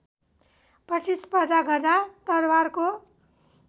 प्रतिस्पर्धा गर्दा तरवारको